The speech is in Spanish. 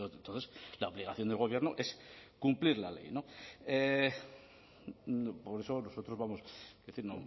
entonces la obligación del gobierno es cumplir la ley por eso nosotros vamos es decir